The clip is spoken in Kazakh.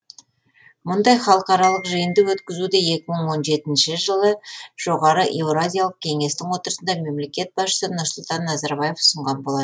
мұндай халықаралық жиынды өткізуді екі мың он жетінші жылы жоғары еуразиялық кеңестің отырысында мемлекет басшысы нұрсұлтан назарбаев ұсынған болатын